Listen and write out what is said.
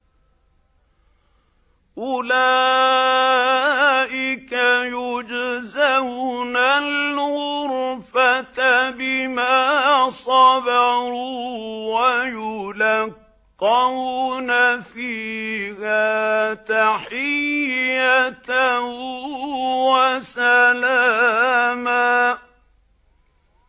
أُولَٰئِكَ يُجْزَوْنَ الْغُرْفَةَ بِمَا صَبَرُوا وَيُلَقَّوْنَ فِيهَا تَحِيَّةً وَسَلَامًا